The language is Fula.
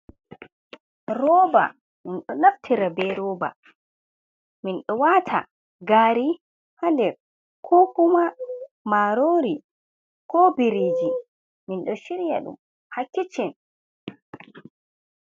Rooba, minɗonaftira be rooba, min ɗoo wata gaari ha nder, ko kuma marori ko biriji, minɗoo shiryadum hakiccen.